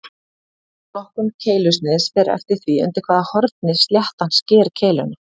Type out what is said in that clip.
Flokkun keilusniðs fer eftir því undir hvaða horni sléttan sker keiluna.